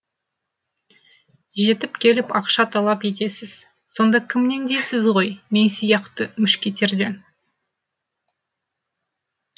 жетіп келіп ақша талап етесіз сонда кімнен дейсіз ғой мен сияқты мушкетерден